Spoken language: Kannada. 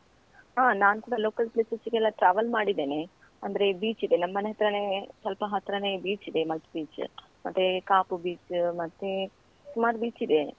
ಹಾ ನಾನ್ ಕೂಡ local places ಗೆಲ್ಲಾ travel ಮಾಡಿದ್ದೇನೆ, ಅಂದ್ರೆ beach ಇದೆ ನಮ್ ಮನೆ ಹತ್ರಾನೇ ಸ್ವಲ್ಪ ಹತ್ರಾನೇ beach ಇದೆ ಮಲ್ಪೆ beach , ಮತ್ತೆ ಕಾಪು beach , ಮತ್ತೆ ಸುಮಾರ್ beach ಇದೆ.